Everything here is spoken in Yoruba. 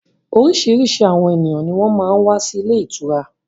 Oríṣiríṣi àwọn ènìyàn ní wọ́n máa ń wà sì ilé ìtura